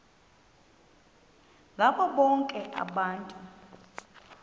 ngabo bonke abantu